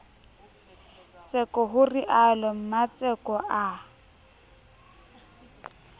tseko ho realo mmatseko a